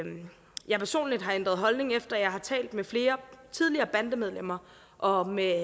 jeg personligt har ændret holdning efter at jeg har talt med flere tidligere bandemedlemmer og med